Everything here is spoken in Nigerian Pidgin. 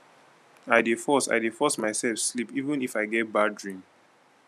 i dey force i dey force mysef sleep even if i get bad dream